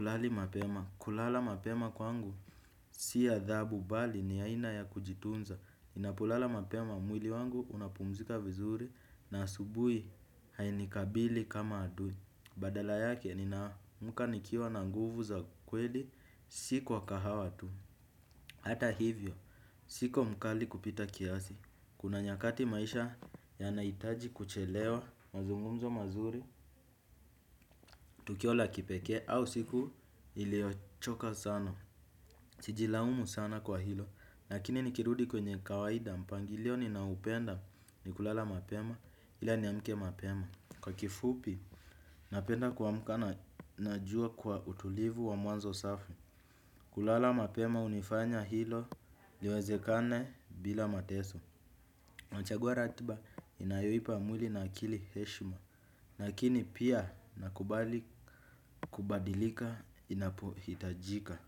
lali mapema. Kulala mapema kwangu si adhabu bali ni ya ina ya kujitunza ninapolala mapema mwili wangu unapumzika vizuri na asubui hainikabili kama adui. Badala yake nina amka nikiwa na nguvu za kweli si kwa kahawa tu. Hata hivyo siko mkali kupita kiasi. Kuna nyakati maisha yanaitaji kuchelewa mazungumzo mazuri. Tukio la kipeke au siku iliyo choka sana. Siji laumu sana kwa hilo. Lakini nikirudi kwenye kawaida mpangilio ni naupenda ni kulala mapema ila ni amke mapema. Kwa kifupi napenda kuamka na jua kwa utulivu wa mwanzo safi. Kulala mapema unifanya hilo liwezekane bila mateso nachagua ratiba inayohipa mwili na akili heshima. Lakini pia nakubali kubadilika inapohitajika.